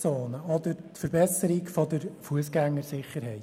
Diese verbessern die Wohnqualität der Leute erheblich.